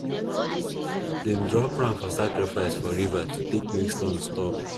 them drop ram for sacrifice for river to take make storm stop